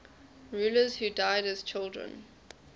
rulers who died as children